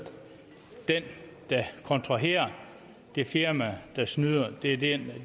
den der kontraherer det firma der snyder er det